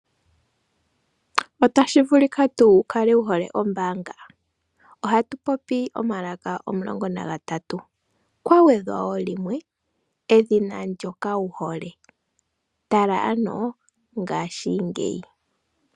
Otashi vulika tuu wu kale wu hole ombaanga? Ohatu popi omalaka omulongo nagatatu, kwa gwedhwa wo limwe, edhina ndyoka wu hole. Tala ano ngashingeyi.